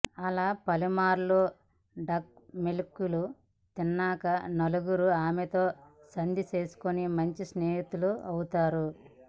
అలా పలుమార్లు డక్కామొక్కీలు తిన్నాక నలుగురూ ఆమెతో సంధి చేసుకుని మంచి స్నేహితులవుతారు